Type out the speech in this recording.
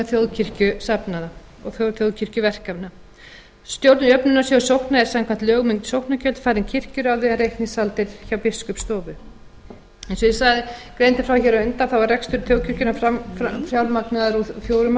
þjóðkirkjusafnaða og þjóðkirkjuverkefna stjórn jöfnunarsjóðs sókna er samkvæmt lögum um sóknargjöld falin kirkjuráði en reikningshald er hjá b biskupsstofu eins og ég greindi frá hér á undan er rekstur þjóðkirkjunnar fjármagnaður úr fjórum